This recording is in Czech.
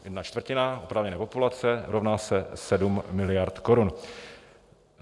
Jedna čtvrtina oprávněné populace rovná se 7 miliard korun.